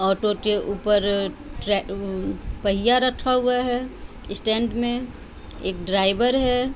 Auto के ऊपर ट्रै उम् पहिया रखा हुआ है स्टैंड में एक ड्राइवर है।